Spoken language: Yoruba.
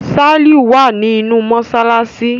Saliu wá ní inú masalasi.